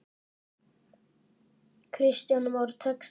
Kristján Már: Tekst það?